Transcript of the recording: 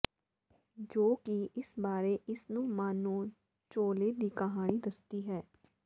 ਜੋ ਕਿ ਇਸ ਬਾਰੇ ਇਸ ਨੂੰ ਮਾਨੋ ਝੋਲੇ ਦੀ ਕਹਾਣੀ ਦੱਸਦੀ ਹੈ ਹੈ